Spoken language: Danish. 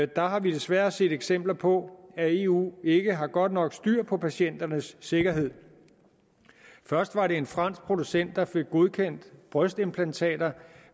der har vi desværre set eksempler på at eu ikke har godt nok styr på patienternes sikkerhed først var det en fransk producent der fik godkendt brystimplantater